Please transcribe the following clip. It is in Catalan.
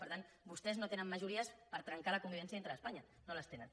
per tant vostès no tenen majories per trencar la convivència dintre d’espanya no les tenen